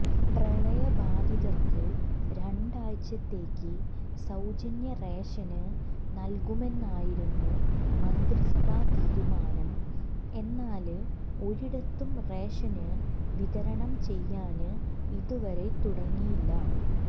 പ്രളയബാധിതര്ക്ക് രണ്ടാഴ്ചത്തേയ്ക്ക് സൌജന്യ റേഷന് നല്കുമെന്നായിരുന്നു മന്ത്രി സഭാ തീരുമാനം എന്നാല് ഒരിടത്തും റേഷന് വിതരണം ചെയ്യാന് ഇതുവരെ തുടങ്ങിയില്ല